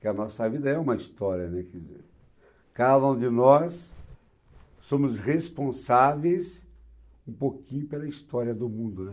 Porque a nossa vida é uma história, né, quer dizer, cada um de nós somos responsáveis um pouquinho pela história do mundo, né?